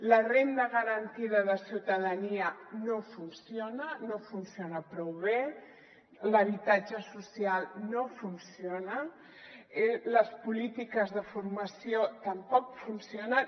la renda garantida de ciutadania no funciona no funciona prou bé l’habitatge social no funciona les polítiques de formació tampoc funcionen